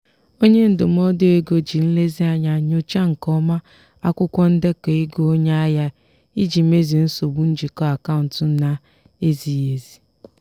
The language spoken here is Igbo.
onye ndụmọdụ ego ji nlezianya nyochaa nke ọma akwụkwọ ndekọ ego onye ahịa ya iji mezie nsogbu njikọ akaụntụ na-ezighị ezi.